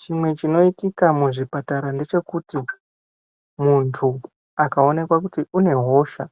Chimwe chinoitika muzvipatara ndechekuti munthu akaonekwa kuti une hosha